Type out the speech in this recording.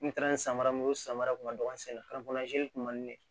N taara ni samaramu ye o samara kun ma don an senna kun man di ne ye